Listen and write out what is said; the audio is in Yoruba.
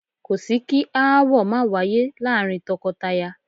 Kò sí kí aáwọ̀ máa wáyé láàárín tọkọtaya